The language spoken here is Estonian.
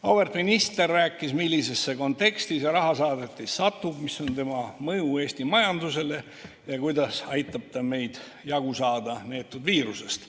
Auväärt minister rääkis, millisesse konteksti see rahasaadetis satub, mis on tema mõju Eesti majandusele ja kuidas aitab ta meil jagu saada sellest neetud viirusest.